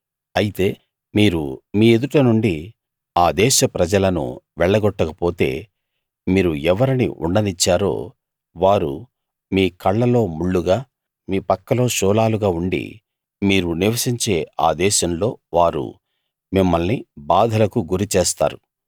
అయితే మీరు మీ ఎదుట నుండి ఆ దేశ ప్రజలను వెళ్లగొట్టకపోతే మీరు ఎవరిని ఉండనిచ్చారో వారు మీ కళ్ళలో ముళ్ళుగా మీ పక్కలో శూలాలుగా ఉండి మీరు నివసించే ఆ దేశంలో వారు మిమ్మల్ని బాధలకు గురిచేస్తారు